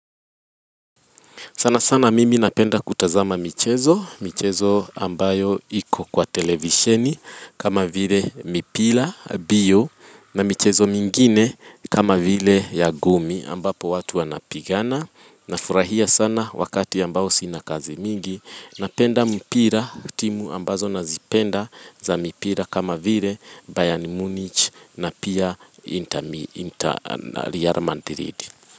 Sana sana mimi napenda kutazama michezo, michezo ambayo iko kwa televisheni kama vile mipira, mbio, na michezo mingine kama vile ya ngumi ambapo watu wanapigana. Na furahia sana wakati ambao sinakazi mingi, napenda mpira timu ambazo nazipenda za mpira kama vile Bayern Munich na pia Real Madrid.